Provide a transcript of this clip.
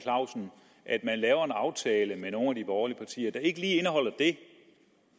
aftale med nogle af de borgerlige partier der ikke lige indeholder det